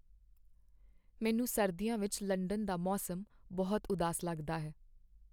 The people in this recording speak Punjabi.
ਮੈਨੂੰ ਸਰਦੀਆਂ ਵਿੱਚ ਲੰਡਨ ਦਾ ਮੌਸਮ ਬਹੁਤ ਉਦਾਸ ਲੱਗਦਾ ਹੈ।